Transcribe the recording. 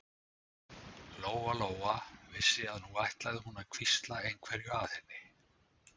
Lóa-Lóa vissi að nú ætlaði hún að hvísla einhverju að henni.